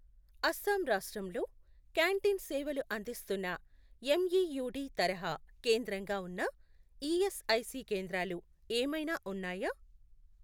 అస్సాం రాష్ట్రంలో క్యాంటీన్ సేవలు అందిస్తున్న ఎంఈయుడి తరహా కేంద్రంగా ఉన్న ఈఎస్ఐసి కేంద్రాలు ఏమైనా ఉన్నాయా?